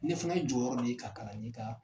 Ne fana ye jɔyɔrɔ de ye ka kalanden ta.